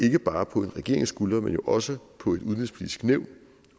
ikke bare en regerings skuldre men jo også på udenrigspolitisk nævn